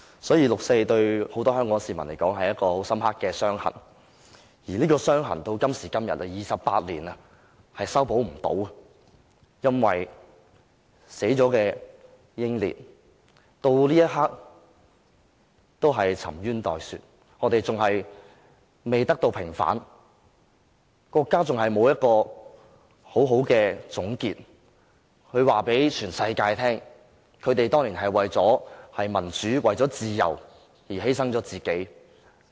所以，六四對很多香港市民來說，是一道很深刻的傷痕，而這道傷痕到今天，經過28年仍無法修補，因為死去的英烈到這一刻仍然沉冤待雪，未得到平反，國家仍然沒有作出一個妥善的總結，告訴全世界這些死難者當年是為了民主自由而犧牲了自己。